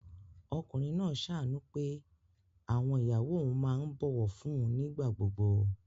Ọkùnrin náà ṣàánú pé àwọn ìyàwó òun máa ń bọ̀wọ̀ fún un nígbà gbogbo